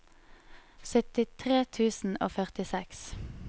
syttitre tusen og førtiseks